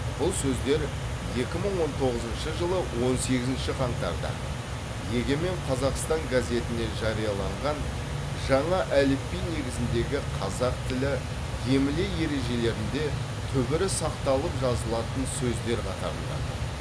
бұл сөздер екі мың он тоғызыншы жылы он сегізінші қаңтарда егемен қазақстан газетіне жарияланған жаңа әліпби негізіндегі қазақ тілі емле ережелерінде түбірі сақталып жазылатын сөздер қатарында тұр